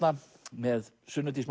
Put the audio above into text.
með Sunnu Dís